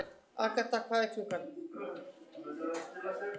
Agatha, hvað er klukkan?